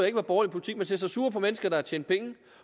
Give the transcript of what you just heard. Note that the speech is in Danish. ikke var borgerlig politik man ser sig sure på mennesker der har tjent penge